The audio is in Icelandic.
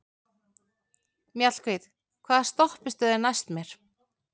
Mjallhvít, hvaða stoppistöð er næst mér?